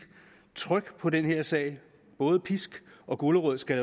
tryk på den her sag både pisk og gulerod skal